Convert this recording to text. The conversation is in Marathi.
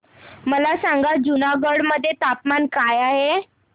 मला सांगा जुनागढ मध्ये तापमान काय आहे